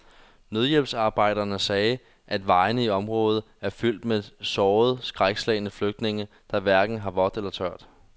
Nødhjælpsarbejdere sagde, at vejene i området er fyldt med sårede og skrækslagne flygtninge, der hverken har vådt eller tørt.